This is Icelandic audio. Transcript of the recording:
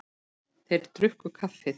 Þeir drukku kaffið.